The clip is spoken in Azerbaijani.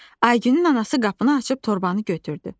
Aygünün anası qapını açıb torbanı götürdü.